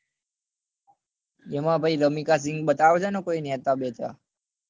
એમાં ભાઈ રમિકા સિંહ બતાવે છે ને કોઈ નેતા બેતા